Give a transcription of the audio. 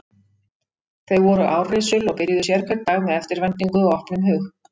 Þau voru árrisul og byrjuðu sérhvern dag með eftirvæntingu og opnum hug.